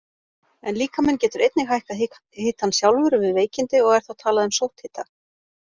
En líkaminn getur einnig hækkað hitann sjálfur við veikindi og er þá talað um sótthita.